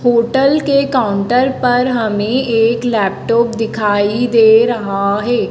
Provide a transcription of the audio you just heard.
Hotel के counter पर हमें एक लैपटॉप दिखाई दे रहा है।